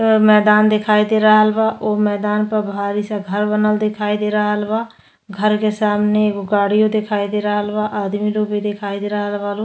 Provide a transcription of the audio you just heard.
अ मैदान दिखाई दे रहल बा। ओ मैदान प भारी सा घर बनल देखाई दे रहल बा। घर के सामने एगो गाड़ियो देखाई दे रहल बा। आदमी लो भी दिखाई दे रहल बा लो।